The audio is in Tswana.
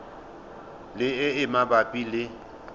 le e e mabapi le